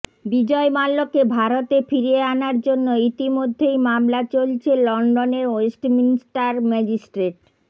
বিজয় মাল্যকে ভারতে ফিরিয়ে আনার জন্য ইতিমধ্যেই মামলা চলছে লন্ডনের ওয়েস্টমিনস্টার ম্যাজিস্ট্রেট